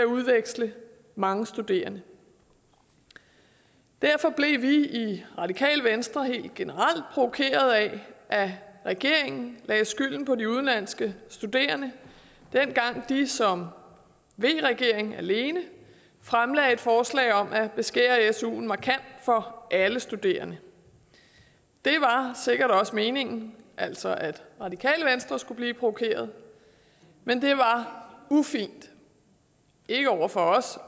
udveksle mange studerende derfor blev vi i radikale venstre helt generelt provokeret af at regeringen lagde skylden på de udenlandske studerende dengang de som v regering alene fremlagde forslag om at beskære suen markant for alle studerende det var sikkert også meningen altså at radikale venstre skulle blive provokeret men det var ufint ikke over for os